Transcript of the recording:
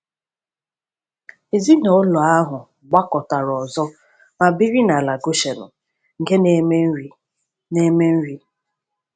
Ezinụlọ ahụ gbakọtara ọzọ ma biri n’ala Goshenu nke na-eme nri. na-eme nri.